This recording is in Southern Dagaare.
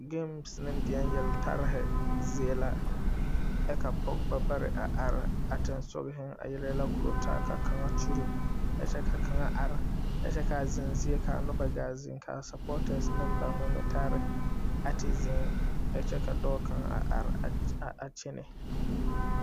NA ne deɛne yeltare zie la ka ka pɔge a pampana a are a sonsore a yele yɛlɛ a koɔrɔ taa ka kaŋa kyuri kyɛ ka kaŋa are ka kyɛ ka a zenzie kaa noba gaa zeŋ kaa NA neŋ ba ŋmɛŋmeɛreba a te zeŋ kyɛ ka dɔɔ kaŋa a are a kyɛnnɛ